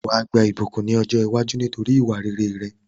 Wàá gba ìbùkún ni ọ̀jọ́ iwájú nítorí ìwà rere rẹ